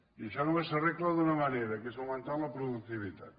i això només s’arregla d’una manera que és augmentant la productivitat